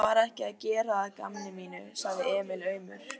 Ég var ekki að gera að gamni mínu, sagði Emil aumur.